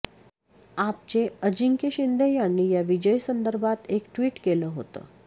आपचे अजिंक्य शिंदे यांनी या विजयासंदर्भात एक ट्वीट केलं होतं